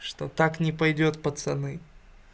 что так не пойдёт пацаны